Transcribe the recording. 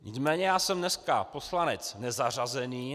Nicméně já jsem dneska poslanec nezařazený.